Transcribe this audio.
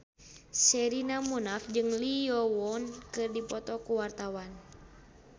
Sherina Munaf jeung Lee Yo Won keur dipoto ku wartawan